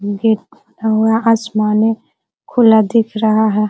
Gate खुला हुआ आसमान है खुला दिख रहा है।